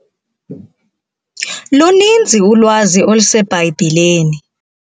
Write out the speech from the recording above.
Luninzi ulwazi oluseBhayibhileni.